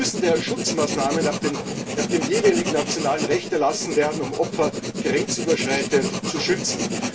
Es müssen daher Schutzmaßnahmen nach dem jeweiligen nationalen Recht erlassen werden, um Opfer grenzüberschreitend zu schützen.